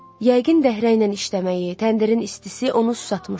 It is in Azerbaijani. Yəqin dəhrəylə işləməyi, təndirin istisi onu susatmışdı.